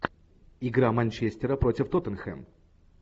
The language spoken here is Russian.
игра манчестера против тоттенхэм